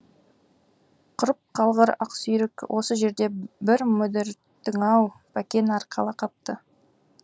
құрып қалғыр ақсүйрік осы жерде бір мүдірттің ау бәкен арқала қапты